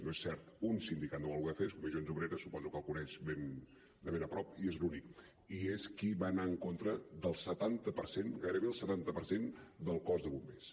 no és cert un sindicat no ho va voler fer és comissions obreres suposo que el coneix de ben a prop i és l’únic i és qui va anar en contra del setanta per cent gairebé el setanta per cent del cos de bombers